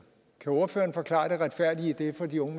kan ordføreren forklare det retfærdige i det for de unge